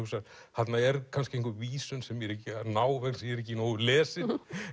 þarna er kannski einhver vísun sem ég er ekki að ná vegna þess ég er ekki nógu vel lesinn